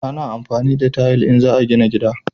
A na amfani da tayil in za a gina gida